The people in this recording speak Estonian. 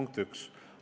Punkt 1.